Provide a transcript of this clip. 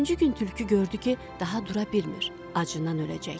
Üçüncü gün tülkü gördü ki, daha dura bilmir, acından öləcək.